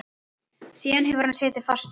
Síðan hefur hann setið fastur.